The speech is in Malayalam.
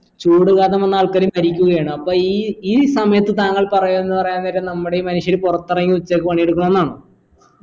ചൂട് കാരണം വന്ന് ആൾക്കാർ മരിക്കുകയാണ് അപ്പൊ ഈ ഈ സമയത്ത് താങ്കൾപറയുന്ന പറയാൻ നേരം നമ്മുടെ ഈ മനുഷ്യർ പുറത്തിറങ്ങി ഉച്ചക്ക് പണിയെടുക്കണെന്നാണോ